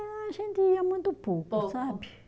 A gente ia muito pouco, sabe?